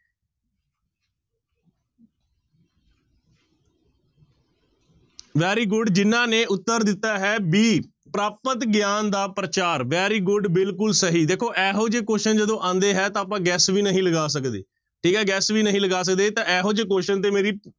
Very good ਜਿਹਨਾਂ ਨੇ ਉੱਤਰ ਦਿੱਤਾ ਹੈ b ਪ੍ਰਾਪਤ ਗਿਆਨ ਦਾ ਪ੍ਰਚਾਰ very good ਬਿਲਕੁਲ ਸਹੀ ਦੇਖੋ ਇਹੋ ਜਿਹੇ question ਜਦੋਂ ਆਉਂਦੇ ਹੈ ਤਾਂ ਆਪਾਂ guess ਵੀ ਨਹੀਂ ਲਗਾ ਸਕਦੇ ਠੀਕ ਹੈ guess ਵੀ ਨਹੀਂ ਲਗਾ ਸਕਦੇ ਤਾਂ ਇਹੋ ਜਿਹੇ question ਤੇ ਮੇਰੀ